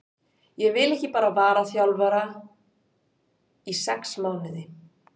Ég vil ekki bara vara þjálfari í sex mánuði.